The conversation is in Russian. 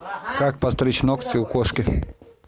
как подстричь ногти у кошки